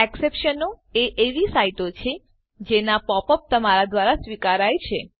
એક્સેપ્શનો એ એવી સાઈટો છે જેના પોપ અપ તમારા દ્વારા સ્વીકાર્ય છે